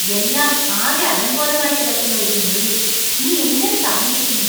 എല്ലാം ആകെ അലങ്കോലമായി കിടക്കുന്ന ഒരു മുറിയിൽ നീ എങ്ങനെ താമസിക്കുന്നു?